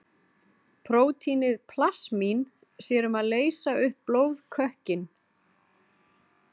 Prótínið plasmín sér um að leysa upp blóðkökkinn.